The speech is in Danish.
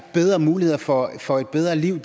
bedre muligheder for for et bedre liv